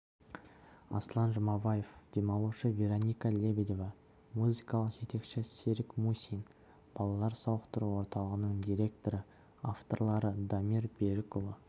аслан жұмабаев демалушы вероника лебедева музыкалық жетекші серік мусин балалар сауықтыру орталығының директоры авторлары дамир берікұлы